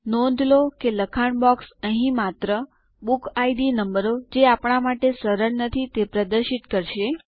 નોંધ લો કે લખાણ બોક્સ અહીં માત્ર બુકિડ નંબરો જે આપણા માટે સરળ નથી તે પ્રદર્શિત કરશે